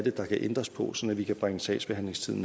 er der kan ændres på så vi kan bringe sagsbehandlingstiden